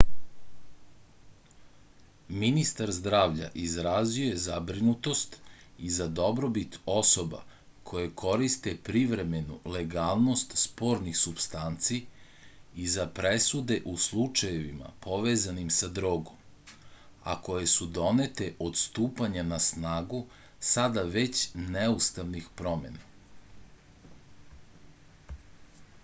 ministar zdravlja izrazio je zabrinutost i za dobrobit osoba koje koriste privremenu legalnost spornih supstanci i za presude u slučajevima povezanim sa drogom a koje su donete od stupanja na snagu sada već neustavnih promena